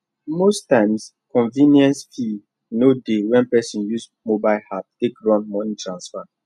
most times convenience fee no dey when person use mobile app take run money transfer